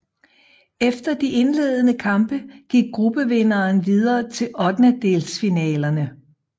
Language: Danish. Efter de indledende kampe gik gruppevinderen videre til ottendedelsfinalerne